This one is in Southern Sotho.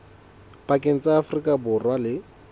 pakeng tsa afrika borwa le